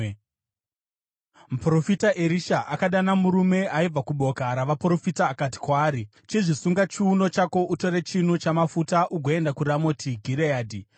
Muprofita Erisha akadana murume aibva kuboka ravaprofita akati kwaari, “Chizvisunga chiuno chako, utore chinu chamafuta ugoenda kuRamoti Gireadhi.